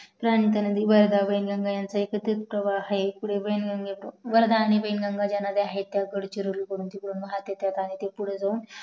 वर्धा आणी वेंनगंगा गडचिरोलीवरून वाहत येतात आणि पुढे जाऊन